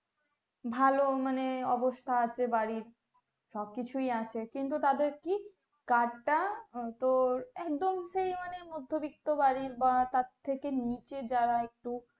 ভালো মানে অবস্থা আছে বাড়ির সবকিছুই আছে কিন্তু তাদের কি card টা তোর একদম সেই মানে মদ্ধবিত্ত বাড়ির বা তার থেকে নিচে যারা একটু